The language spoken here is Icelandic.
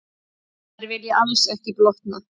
Þær vilja alls ekki blotna.